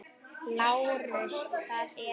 LÁRUS: Það eru.